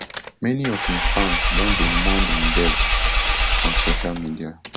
many of im fans don dey mourn im death on social media